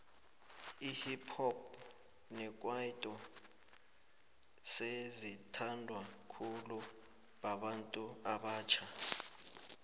ihip hop nekwaito sezi thandwa khulu babantu abatjha